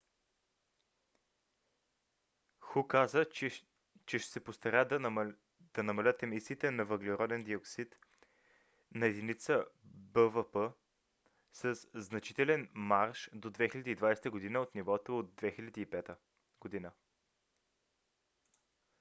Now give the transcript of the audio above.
"ху каза че ще се постараят да намалят емисиите на въглероден диоксид на единица бвп със значителен марж до 2020 г. от нивото от 2005 г